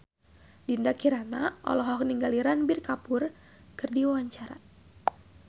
Dinda Kirana olohok ningali Ranbir Kapoor keur diwawancara